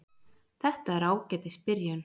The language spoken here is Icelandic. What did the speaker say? Þetta er ágætis byrjun.